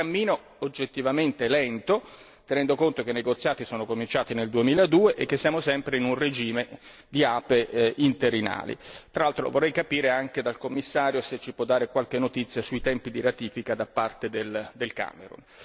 È un cammino oggettivamente lento, tenendo conto che i negoziati sono cominciati nel 2002 e che siamo sempre in un regime di APE interinali, tra l'altro lo vorrei capire anche dal Commissario se ci può dare qualche notizia sui tempi di ratifica da parte del Camerun.